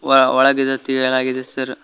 ಆ ಒಳಗಿದ ತೆಗೆಯಲಾಗಿದೆ ಸರ್ .